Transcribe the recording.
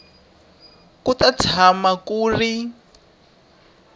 ku ta tshama ku ri